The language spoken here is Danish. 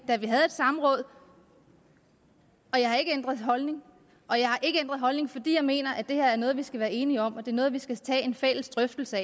da vi havde et samråd og jeg har ikke ændret holdning holdning fordi jeg mener at det er noget vi skal være enige om og det er noget vi skal tage en fælles drøftelse